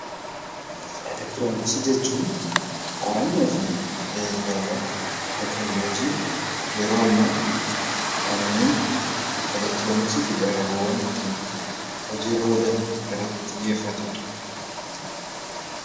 Elektroniksii jechuun qorannoo fi tajaajilaawwan teekinooloojii yeroo ammaa kanneen elektroniksii fayyadaman kan ittiin hojiilee irratti xiyyeeffatudha.